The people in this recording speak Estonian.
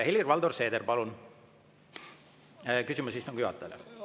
Helir-Valdor Seeder, palun, küsimus istungi juhatajale!